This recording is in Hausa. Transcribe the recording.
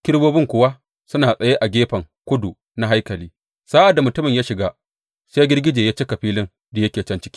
Kerubobin kuwa suna tsaye a gefen kudu na haikali sa’ad da mutumin ya shiga, sai girgije ya cika filin da yake can ciki.